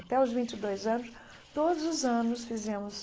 Até aos vinte e dois anos, todos os anos fizemos